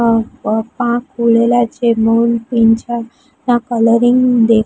અહ આ પાંખ ખુલેલા છે મોરપીંછના કલરિંગ દે--